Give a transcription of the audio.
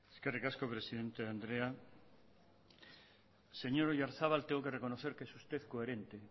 eskerrik asko presidente andrea señor oyarzabal tengo que reconocer que es usted coherente